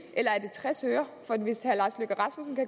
tres øre